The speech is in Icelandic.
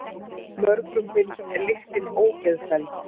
Mörgum finnst lyktin ógeðfelld.